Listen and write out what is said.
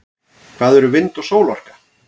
hvað eru vind og sólarorka